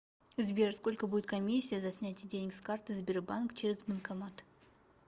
сбер сколько будет комиссия за снятие денег с карты сбербанк через банкомат